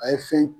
A ye fɛn